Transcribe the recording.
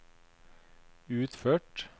utført